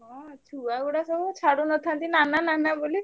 ହଁ ଛୁଆ ଗୁଡା ସବୁ ଛାଡୁନଥାନ୍ତି ନାନା ନାନା ବୋଲି।